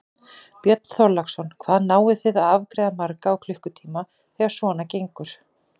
Björn Þorláksson: Hvað náið þið að afgreiða marga á klukkutíma þegar svona gengur?